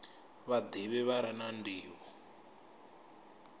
vhadivhi vha re na ndivho